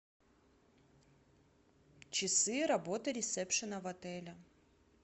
часы работы ресепшена в отеле